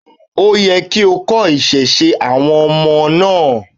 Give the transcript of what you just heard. Ó yẹ kí o kọ́ ìṣesí àwọn ọmọ náà ni.